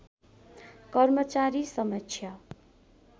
कर्मचारी समक्ष